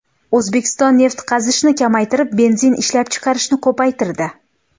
O‘zbekiston neft qazishni kamaytirib, benzin ishlab chiqarishni ko‘paytirdi.